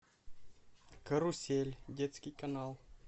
карусель детский канал